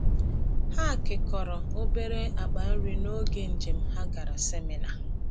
Ha kekọrọ obere akpa nri n’oge njem ha gara seminar.